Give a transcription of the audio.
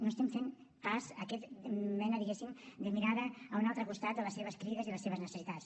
no estem fent pas aquesta mena de diguéssim mirada a un altre costat de les seves crides i les seves necessitats